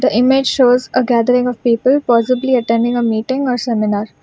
The image shows a gathering of people possibly attending a meeting or seminar.